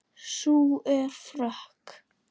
Sú er frökk!